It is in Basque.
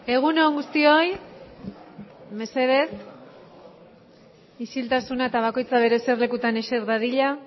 egun on guztioi osoko bilkurari hasiera emango diogu mesedez bakoitza zuen eserlekuetan eseri